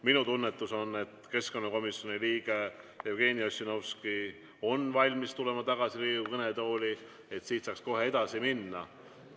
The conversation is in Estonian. Minu tunnetus on, et keskkonnakomisjoni liige Jevgeni Ossinovski on valmis tulema tagasi Riigikogu kõnetooli, et saaks kohe edasi minna.